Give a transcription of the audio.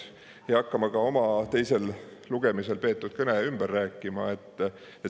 Ja ma ei hakka ka oma teisel lugemisel peetud kõnet ümber rääkima.